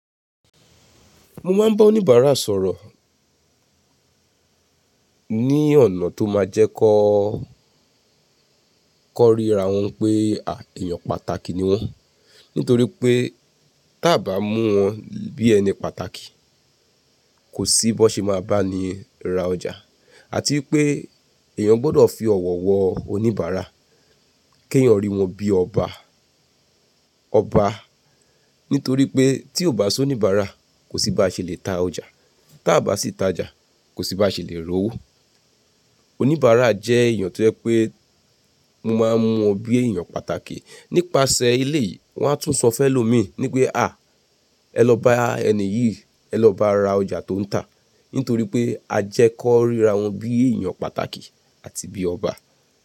Mo máa ń bá oníbàárà sọ̀rọ̀ ní ọ̀nà tó máa jẹ́ kó kan ríra wọn pé à èèyàn pàtàkì ni wọ́n. Nítorí pé tí a ò bá mú wọn bí ẹni pàtàkì, kò sí bó ṣe máa bá ni ra ọjà àti pé èèyàn gbọ́dọ̀ fi ọ̀wọ̀ wọ oníbàárà kí èèyàn rí wọn bí ọba, ọba. Nítorí pé tí ò bá sí oníbàárà kò sí bá ṣe lè ta ọjà, tí a bá sì ta ọjà kò sí bá ṣe lè rówó. Oníbàárà jẹ́ èèyàn tío jẹ pé mo máa ń mú wọn bí èèyàn pàtàkì. Nípasẹ̀ eleyìí wọ́n á tún sọ fẹ́lọ́mìí ní pé à ẹ lọ bá ẹni yìí, ẹ lọ bá a ra ọjà tó ń tà. Nítorí pé a jẹ́ kó ríra wọn bí èèyàn pàtàkì àti bí ọba.